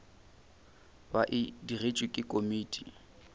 ba e digetšwe ke komiti